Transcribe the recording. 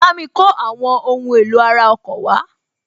Bámi kó àwọn ohun èlò ara ọkọ̀ wá